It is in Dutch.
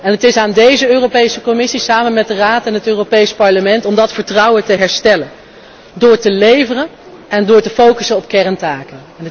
En het is aan deze Europese Commissie, samen met de Raad en het Europees Parlement, om dat vertrouwen te herstellen door te leveren en door te focussen op kerntaken.